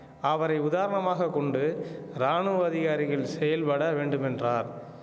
அவரை உதாரணமாக கொண்டு ராணுவ அதிகாரிகள் செயல்பட வேண்டும் என்றார்